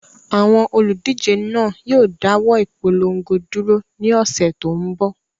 Àwọn olùdíje náà yóò dáwọ́ ìpolongo dúró ní ọ̀sẹ̀ tó ń bọ̀.